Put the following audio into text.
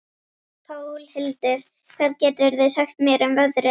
Pálhildur, hvað geturðu sagt mér um veðrið?